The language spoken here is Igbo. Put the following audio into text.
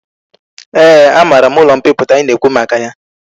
Ee a mara m ulo mpiputa i na ekwu maka ya